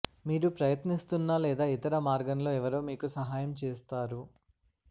మీరు ప్రయత్నిస్తున్న లేదా ఇతర మర్గంలో ఎవరో మీకు సహాయం చేస్తారు